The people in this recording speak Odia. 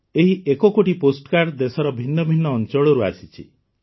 ଏହି ଏକ କୋଟି ପୋଷ୍ଟ କାର୍ଡ଼ ଦେଶର ଭିନ୍ନ ଭିନ୍ନ ଅଂଚଳରୁ ଆସିଛି